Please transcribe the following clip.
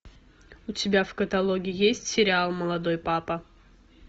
у тебя в каталоге есть сериал молодой папа